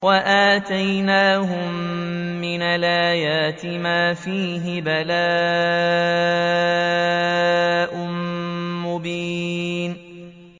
وَآتَيْنَاهُم مِّنَ الْآيَاتِ مَا فِيهِ بَلَاءٌ مُّبِينٌ